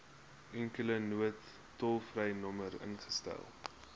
enkele noodtolvrynommer ingestel